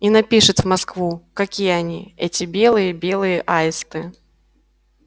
и напишет в москву какие они эти белые белые аисты